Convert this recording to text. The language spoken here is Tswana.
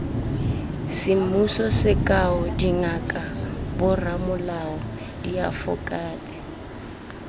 semmuso sekao dingaka boramolao diafokate